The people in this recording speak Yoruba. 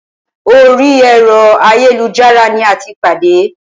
Orí ẹ̀rọ ayélujára ní a tí pàdé.